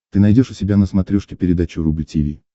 ты найдешь у себя на смотрешке передачу рубль ти ви